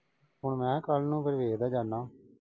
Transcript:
ਹੁਣ ਮਖਾਂ ਕੱਲ ਨੂੰ ਵੇਖ ਦਾ ਜਾਨਾ।